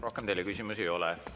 Rohkem teile küsimusi ei ole.